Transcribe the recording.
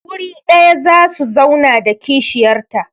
Wuri ɗaya za su zauna da kishiyarta.